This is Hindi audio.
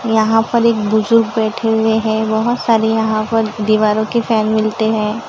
यहां पर एक बुजुर्ग बैठे हुए हैं बहुत सारे यहां पर दीवारों के फैन मिलते हैं।